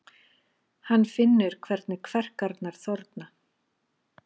Hann finnur hvernig kverkarnar þorna.